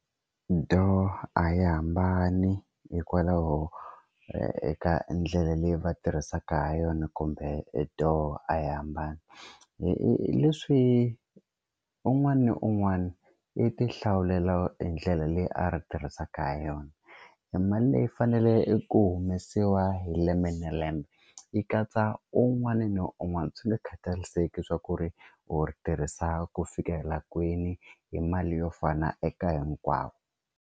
Do a hi hambani hikwalaho eka ndlela leyi va tirhisaka ha yona kumbe doo a hi hambani hi leswi un'wana na un'wana i ti hlawulela e ndlela leyi a ri tirhisaka ha yona i mali leyi faneleke i ku humesiwa hi lembe na lembe yi katsa un'wana ni un'wana swi nga khatariseki swa ku ri u ri tirhisa ku fikela kwini hi mali yo fana eka hinkwavo.